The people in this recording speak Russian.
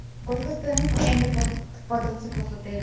сколько стоимость аренды квадроциклов в отеле